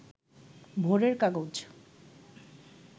ভোরের কাগজ